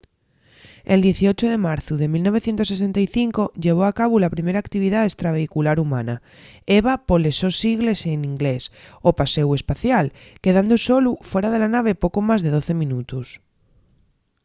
el 18 de marzu de 1965 llevó a cabu la primer actividá estravehicular humana eva poles sos sigles n’inglés o paséu espacial quedando solu fuera de la nave poco más de doce minutos